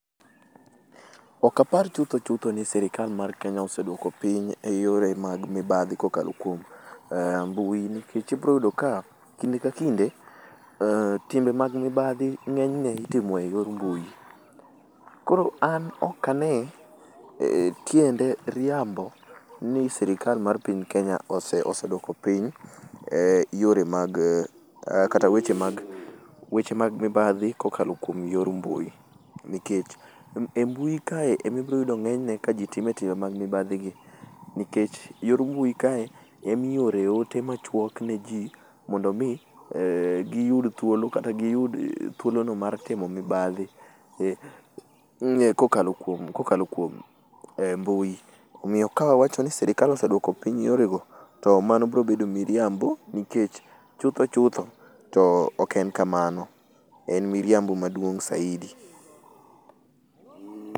Ok apar chutho chutho ni sirkal mar Kenya oseduoko piny e yore mag mibadhi kokalo kuom mbui nikech ibiro yudo ka kinde ka kinde timbe mag mibadhi ng'eny ne itimo eyor mbui. Koro an ok ane tiende riambo ni sirikal mar piny Kenya oseduoko piny yore mag kata weche mag weche mag mibadhi kokalo kuom yor mbui. Nikech embui kae ema ibiro yude ng'enyne kaji time timbe mag mibadhi gi nikech yor mbui kae ema iore ote machuok ne ji mondo mi giyud thuolo kata giyud thuolono mar timo mibadhi kokalo kuom kokalo kuom mbui. Omiyo ka awacho ni sirkal oseduoko piny yorego, to mano biro bedo miriambo nikech chutho chutho, to ok en kamano. En miriambo maduong' saidi.